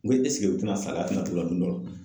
N ko u tina